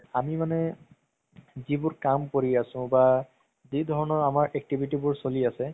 আমি মানে যিবোৰ কাম কৰি আছো বা যিধৰণৰ আমাৰ activity বোৰ চলি আছে